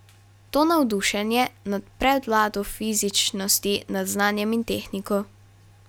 To navdušenje nad prevlado fizičnosti nad znanjem in tehniko.